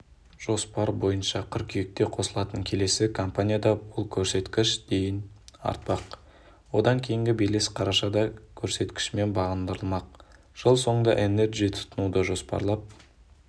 жоспар бойынша қыркүйекте қосылатын келесі компанияда бұл көрсеткіш дейін артпақ одан кейінгі белес қарашада көрсеткішімен бағындырылмақ жыл соңында энерджи тұтынуды жоспарлап